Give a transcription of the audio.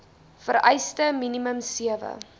vereiste minimum sewe